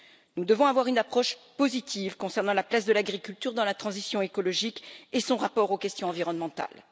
Nous devons avoir une approche positive concernant la place de l'agriculture dans la transition écologique et son rapport aux questions environnementales.